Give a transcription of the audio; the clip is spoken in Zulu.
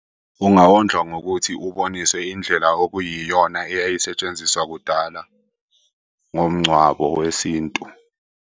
Ungawondlwa ngokuthi uboniswe indlela okuyiyona eyayisetshenziswa kudala ngomngcwabo wesintu.